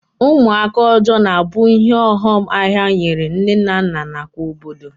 Ụmụaka ọjọọ na-abụ ihe ọghọm ahịa nyere nne na nna nakwa obodo